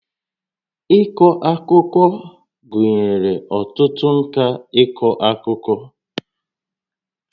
Ịkọ akụkọ gụnyere ọtụtụ ǹkà ịkọ akụkọ